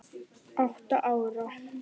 Átta ár.